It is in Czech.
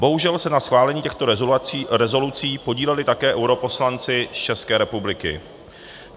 Bohužel se na schválení těchto rezolucí podíleli také europoslanci z České republiky.